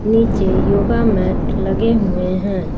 नीचे yoga mat लगे हुए हैं।